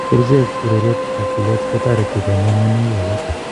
Kerchek, ureriet ak tilet kotariti konyai miondwogik alak